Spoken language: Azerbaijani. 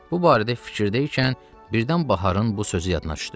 Bu barədə fikirdə ikən birdən baharın bu sözü yadına düşdü.